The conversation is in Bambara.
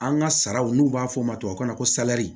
An ka saraw n'u b'a fɔ o ma tubabukan na ko salɛri